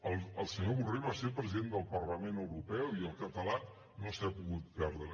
el senyor borrell va ser president del parlament europeu i el català no s’hi ha pogut parlar